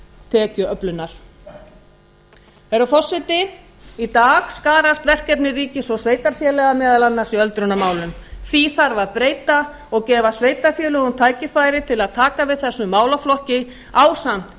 tekjuöflunar herra forseti í dag skarast verkefni ríkis og sveitarfélaga meðal annars í öldrunarmálum því þarf að breyta og gefa sveitarfélögum tækifæri til að taka við þessum málaflokki ásamt